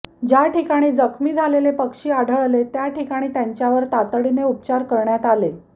ज्या ठिकाणी जखमी झालेले पक्षी आढळले त्या ठिकाणी त्यांच्यावर तातडीने उपचार करण्यात आले